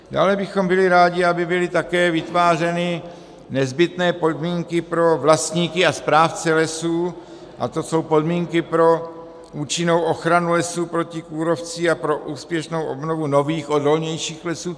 Dále bychom byli rádi, aby byly také vytvářeny nezbytné podmínky pro vlastníky a správce lesů, a to jsou podmínky pro účinnou ochranu lesů proti kůrovci a pro úspěšnou obnovu nových odolnějších lesů.